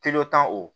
o